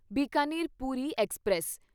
Bikaner Puri express